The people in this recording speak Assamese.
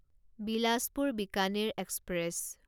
বিলাচপুৰ বিকানেৰ এক্সপ্ৰেছ